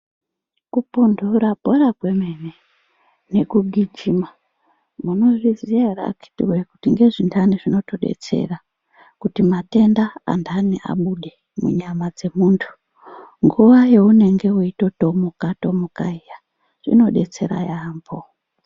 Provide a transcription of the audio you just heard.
Kupundura bhora kwemene nekugijima munozviziya ere akiti woye kuti ngezvindani zvinotodetsera kuti matenda endani abude munyama dzemuntu. Nguva yaunenge waitotomuka tomuka iya zvinodetsera yaambo.